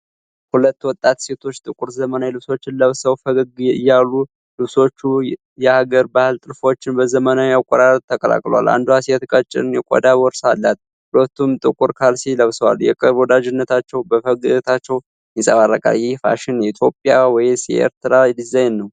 ሁለት ወጣት ሴቶች ጥቁር ዘመናዊ ልብሶችን ለብሰው ፈገግ እያሉ። ልብሶቹ የሀገር ባህል ጥልፎችን በዘመናዊ አቆራረጥ ተቀላቅለዋል። አንዷ ሴት ቀጭን የቆዳ ቦርሳ አላት፤ ሁለቱም ጥቁር ካልሲ ለብሰዋል። የቅርብ ወዳጅነታቸው በፈገግታቸው ይንጸባረቃል። ይህ ፋሽን የኤትዮጵያ ወይስ የኤርትራ ዲዛይን ነው?